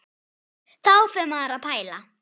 Þá fer maður að pæla.